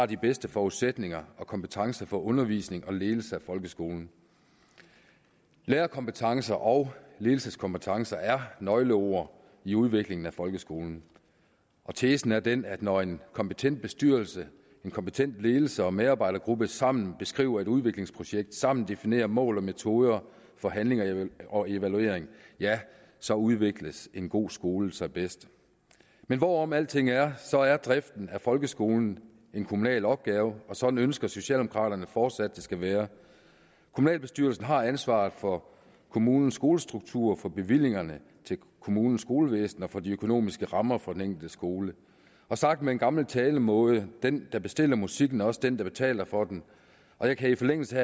de bedste forudsætninger og kompetencer for undervisning og ledelse af folkeskolen lærerkompetencer og ledelseskompetencer er nøgleord i udviklingen af folkeskolen og tesen er den at når en kompetent bestyrelse en kompetent ledelse og en medarbejdergruppe sammen beskriver et udviklingsprojekt og sammen definerer mål og metoder for handling og evaluering ja så udvikler en god skole sig bedst men hvorom alting er er driften af folkeskolen en kommunal opgave og sådan ønsker socialdemokraterne fortsat at det skal være kommunalbestyrelsen har ansvaret for kommunens skolestruktur for bevillingerne til kommunens skolevæsen og for de økonomiske rammer for den enkelte skole sagt med en gammel talemåde den der bestiller musikken er også den der betaler for den jeg kan i forlængelse